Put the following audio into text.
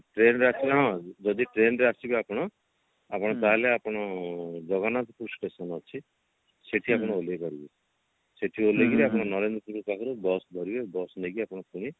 train ରେ ଆସିଲେ କଣ ଯଦି train ରେ ଆସିବେ ଆପଣ ଆପଣ ତାହେଲେ ଆପଣ ଜଗନ୍ନାଥପୁର station ଅଛି ସେଠି ଆପଣ ଓହ୍ଲେଇପାରିବେ ସେଠି ଓହ୍ଲେଇକିରି ଆପଣ ନରେନ୍ଦ୍ରପୁର ପାଖରେ bus ଧରିବେ bus ନେଇକି ଆପଣଙ୍କୁ ପୁଣି